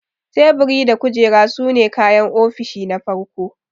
Teburi da kujera sune kayan ofishi na farko.